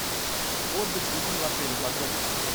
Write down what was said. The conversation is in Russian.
отдых с детьми в отеле подробности